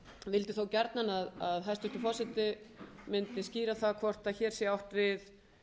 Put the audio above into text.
vildi þó gjarnan að hæstvirtur forseti mundi skýra það hvort hér sé átt við